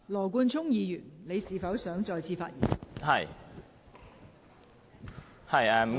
羅冠聰議員，你是否想再次發言？